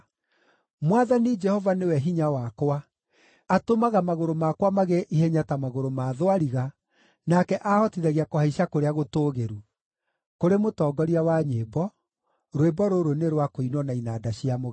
Mwathani Jehova nĩwe hinya wakwa, atũmaga magũrũ makwa magĩe ihenya ta magũrũ ma thwariga, nake aahotithagia kũhaica kũrĩa gũtũũgĩru. Kũrĩ mũtongoria wa nyĩmbo. Rwĩmbo rũrũ nĩ rwa kũinwo na inanda cia mũgeeto.